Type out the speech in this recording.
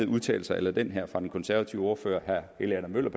udtalelser a la den her fra den konservative ordfører herre helge adam møller